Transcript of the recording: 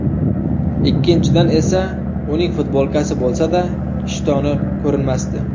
Ikkinchidan esa uning futbolkasi bo‘lsa-da, ishtoni ko‘rinmasdi.